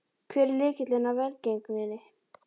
Hver er lykilinn að velgengninni?